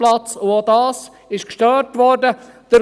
Auch das wurde gestört.